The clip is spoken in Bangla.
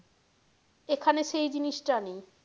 এখানে সেই জিনিস টা নেই।